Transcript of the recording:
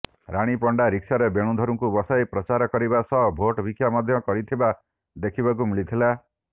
ରାଣୀ ପଣ୍ଡା ରିକ୍ସାରେ ବେଣୁଧରଙ୍କୁ ବସାଇ ପ୍ରଚାର କରିବା ସହ ଭୋଟ୍ ଭିକ୍ଷା ମଧ୍ୟ କରିଥିବା ଦେଖିବାକୁ ମିଳିଥିଲା